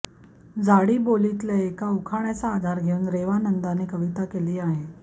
झाडीबोलीतल्या एका उखाण्याचा आधार घेऊन रेवानंदने कविता केली आहे